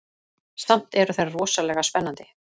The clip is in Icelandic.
Samt eru þær rosalega spennandi.